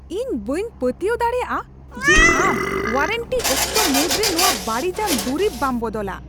ᱤᱧ ᱵᱟᱹᱧ ᱯᱟᱹᱛᱭᱟᱹᱣ ᱫᱟᱲᱮᱭᱟᱜᱼᱟ ᱡᱮ ᱟᱢ ᱳᱣᱟᱨᱮᱱᱴᱤ ᱚᱠᱛᱚ ᱢᱩᱫᱽ ᱨᱮ ᱱᱚᱶᱟ ᱵᱟᱹᱲᱤᱡᱟᱱ ᱫᱩᱨᱤᱵ ᱵᱟᱢ ᱵᱚᱫᱚᱞᱟ ᱾